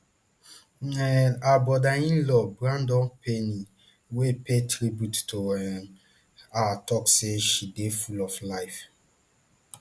um her brotherinlaw brandon payne wey pay tribute to um her tok say she dey full of life